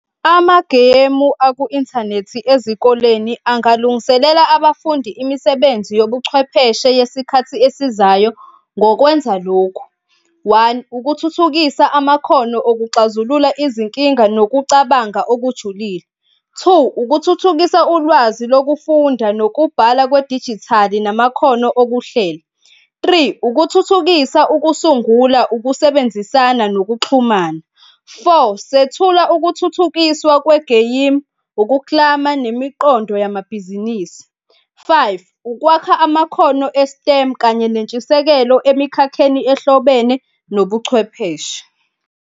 Amagemu aku-inthanethi ezikoleni angalungiselela abafundi imisebenzi yobuchwepheshe yesikhathi esizayo ngokwenza lokhu, one, ukuthuthukisa amakhono okuxazulula izinkinga nokucabanga okujulile. Two, ukuthuthukisa ulwazi lokufunda nokubhala kwedijithali namakhono okuhleli. Three ukuthuthukisa ukusungula, ukusebenzisana nokuxhumana. Four, sethula ukuthuthukiswa kwegeyimu, ukuklama nemiqondo yamabhizinisi. Five, ukwakha amakhono e-STEM kanye nentshisekelo, emikhakheni ehlobene nobuchwepheshe.